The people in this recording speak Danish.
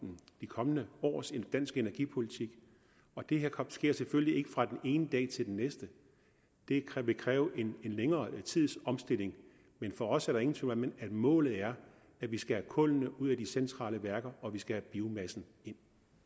de kommende års dansk energipolitik og det her sker selvfølgelig ikke fra den ene dag til den næste det vil kræve en længere tids omstilling men for os er der ingen tvivl om at målet er at vi skal have kullet ud af de centrale værker og vi skal have biomassen ind